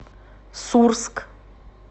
сурск